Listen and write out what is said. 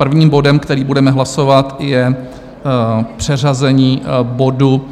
Prvním bodem, který budeme hlasovat, je přeřazení bodu